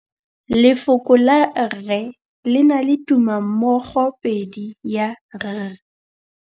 Lefoko la rre le na le tumammogôpedi ya, r.